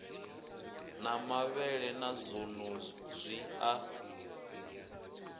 na mavhele na zwonezwi a